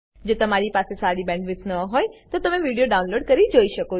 જો તમારી પાસે સારી બેન્ડવિડ્થ ન હોય તો તમે વિડીયો ડાઉનલોડ કરીને જોઈ શકો છો